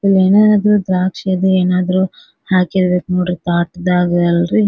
ಇಲ್ಲಿ ಏನಾದ್ರು ದ್ರಾಕ್ಷಿ ಇದ ಏನಾದ್ರು ಹಾಕಿರಬೆಕ್ ನೋಡ್ರಿ ಪಾ ತಾಟದಾಗ ಅಲ್ರಿ.